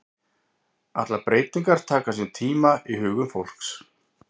Allar breytingar taka sinn tíma í hugum fólks.